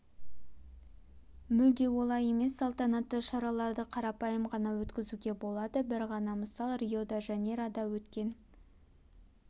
мүлде олай емес салтанатты шараларды қарапайым ғана өткізуге болады бір ғана мысал рио-де жанейрода өткен